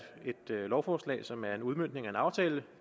lovforslag som er en udmøntning af en aftale